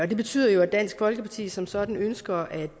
det betyder jo at dansk folkeparti som sådan ønsker at